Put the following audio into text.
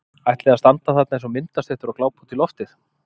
Ætliði að standa þarna eins og myndastyttur og glápa út í loftið!